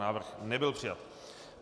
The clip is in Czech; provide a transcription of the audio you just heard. Návrh nebyl přijat.